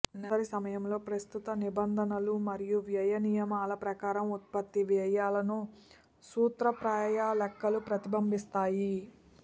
నెలసరి ప్రారంభంలో ప్రస్తుత నిబంధనలు మరియు వ్యయ నియమాల ప్రకారం ఉత్పత్తి వ్యయాలను సూత్రప్రాయ లెక్కలు ప్రతిబింబిస్తాయి